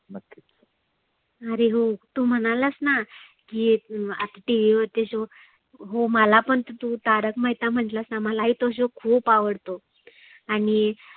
आरे हो तु म्हणालासना की एक TV वरती show हो मला पण तु तारक मेहता म्हटलास ना मला ही तो शो खुप आवडतो. आणि